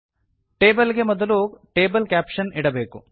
table ಗೆ ಮೊದಲು table caption ಇಡಬೇಕು